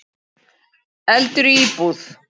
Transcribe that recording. Eldur í íbúð